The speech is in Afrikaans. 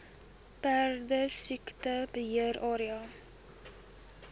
perdesiekte beheer area